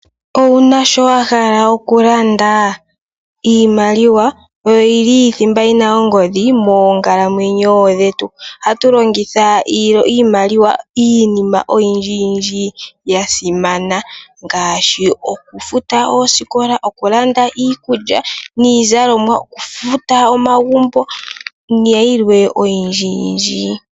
Owuna shoka wahala okulanda? iimaliwa oyo yili thimba yina ongodhi moonkalamwenyo dhetu. Ohatu longitha iimaliwa iinima oyindji ya simana ngaashi okufuta oosikola ,okulanda niizalomwa, okufuta omagumbo nayilwe oyindji.